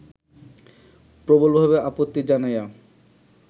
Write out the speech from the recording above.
প্রবলভাবে আপত্তি জানাইয়া